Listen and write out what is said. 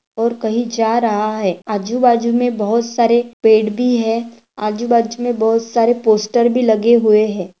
और कही जा रहा है आजु-बाजू मे बहुत सारे पेड़ भी है आजु-बाजू मे बहुत सारे पोस्टर भी लगे हुए है।